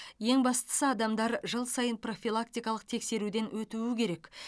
ең бастысы адамдар жыл сайын профилактикалық тексеруден өтуі керек